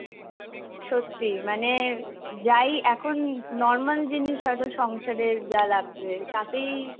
সত্যি মানে যাই এখন normal জিনিস হয়তো সংসারের যা লাগবে, তাতেই